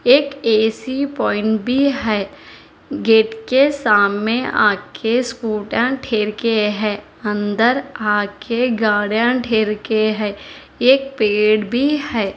एक AC point भी है गेट के सामने आ के स्कूटर ठेर के हैं अंदर आ कर गार्डन ढेर के हैं एक पेड़ भी है।